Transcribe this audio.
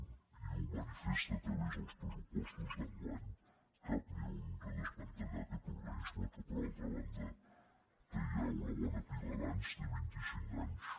i ho manifes·ta a través dels pressupostos d’enguany cap ni un de desmantellar aquest organisme que per altra banda té ja una bona pila d’anys té vint·i·cinc anys